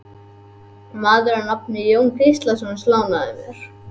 Maður að nafni Jón Gíslason lánaði mér.